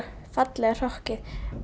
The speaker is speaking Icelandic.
fallega hrokkið